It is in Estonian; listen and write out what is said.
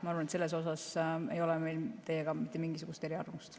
Ma arvan, et seal ei ole meil teiega mitte mingisugust eriarvamust.